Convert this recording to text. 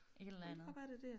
Et eller andet